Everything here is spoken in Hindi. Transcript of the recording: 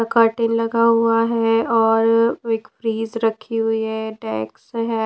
कार्टन लगा हुआ हैऔर एक ब्रीज रखी हुई है डेक्स है।